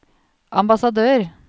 ambassadør